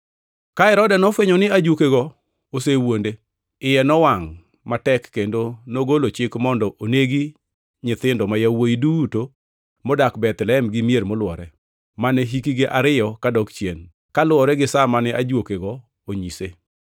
Ka Herode nofwenyo ni Ajuokego nosewuonde, iye nowangʼ matek, kendo nogolo chik mondo onegi nyithindo ma yawuowi duto modak Bethlehem gi mier molwore, mane hikgi ariyo kadok chien, kaluwore gi sa mane Ajuokego onyise.